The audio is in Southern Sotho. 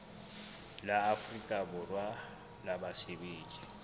la afrika borwa la basebetsi